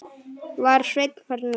Var Sveinn farinn út?